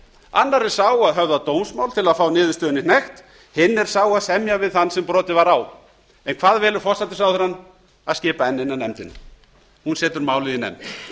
annar er sá að höfða dómsmál til að fá niðurstöðunni hnekkt hinn er sá að semja við þann sem brotið var á en hvað velur forsætisráðherrann að skipa enn eina nefndina hún setur málið í nefnd